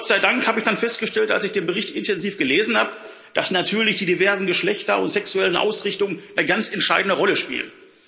Gott sei Dank habe ich dann festgestellt, als ich den Bericht intensiv gelesen habe, dass natürlich die diversen Geschlechter und sexuellen Ausrichtungen eine ganz entscheidende Rolle spielen.